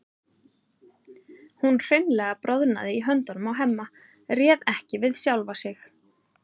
Hún hreinlega bráðnaði í höndunum á Hemma, réð ekki við sjálfa sig.